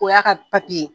O y'a ka papiye ye